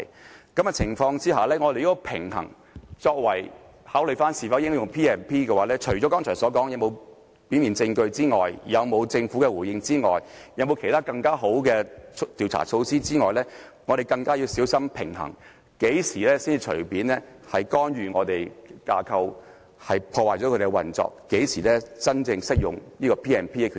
在這個情況下，如果平衡是作為應否考慮引用《條例》的因素的話，除剛才所說的有否表面證據、政府回應和其他更好的調查措施外，我們今次更要小心平衡，要知道何時會干預我們的架構，破壞其運作，何時才真正適合引用《條例》的權力。